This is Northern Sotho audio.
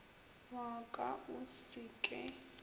wa ka o se ke